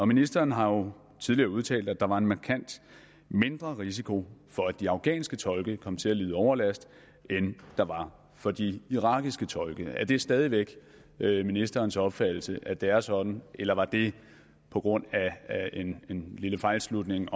ministeren har jo tidligere udtalt at der var en markant mindre risiko for at de afghanske tolke kom til at lide overlast end der var for de irakiske tolke er det stadig væk ministerens opfattelse at det er sådan eller var det på grund af en lille fejlslutning